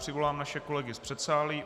Přivolám naše kolegy z předsálí.